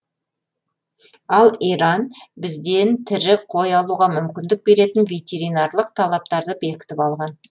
ал иран бізден тірі қой алуға мүмкіндік беретін ветеринарлық талаптарды бекітіп алған